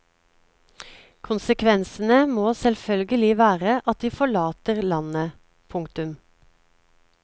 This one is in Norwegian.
Konsekvensene må selvfølgelig være at de forlater landet. punktum